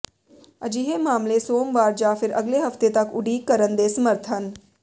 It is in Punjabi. ਅਜਿਹੇ ਮਾਮਲੇ ਸੋਮਵਾਰ ਜਾਂ ਫਿਰ ਅਗਲੇ ਹਫਤੇ ਤਕ ਉਡੀਕ ਕਰਨ ਦੇ ਸਮਰੱਥ ਹਨ